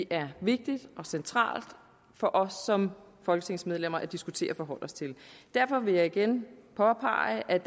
er vigtigt og centralt for os som folketingsmedlemmer at diskutere og forholde os til derfor vil jeg igen påpege at